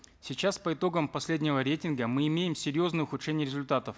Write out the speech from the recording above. сейчас по итогам последнего рейтинга мы имеем серьезные ухудшения результатов